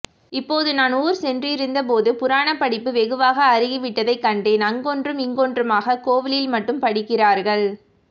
இப்போது நான் ஊர் சென்றிருந்தபோது புராணப் படிப்பு வெகுவாக அருகிவிட்டதைக் கண்டேன் அங்கொன்றும் இங்கொன்றுமாக கோவிலில் மட்டும் படிக்கிறார்கள்